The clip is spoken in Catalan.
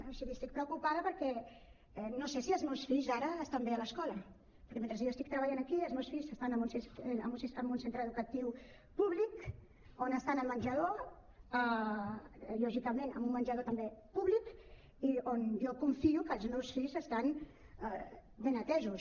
o sigui estic preocupada perquè no sé si els meus fills ara estan bé a l’escola perquè mentre jo estic treballant aquí els meus fills s’estan en un centre educatiu públic on estan al menjador lògicament en un menjador també públic i on jo confio que els meus fills estan ben atesos